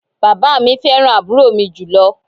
Bàbá mi fẹ́ràn àbúrò mi jùlọ